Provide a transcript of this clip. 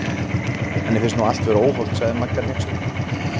Henni finnst nú allt vera óhollt sagði Magga hneyksluð.